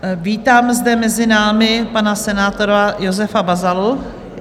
Vítám zde mezi námi pana senátora Josefa Bazalu.